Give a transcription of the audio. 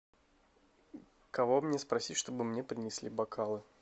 кого мне спросить чтобы мне принесли бокалы